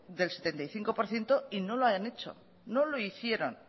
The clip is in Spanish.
del setenta y cinco por ciento y no lo han hecho no lo hicieron